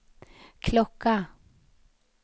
klocka